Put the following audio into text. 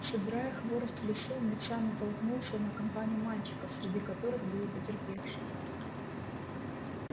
собирая хворост в лесу мит са натолкнулся на компанию мальчиков среди которых был и потерпевший